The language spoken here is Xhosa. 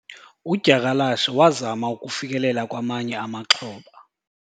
Udyakalashe wazama ukufikelela kwamanye amaxhoba